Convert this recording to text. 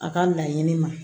A ka laɲini ma